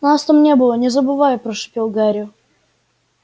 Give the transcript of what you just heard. нас там не было не забывай прошипел гарри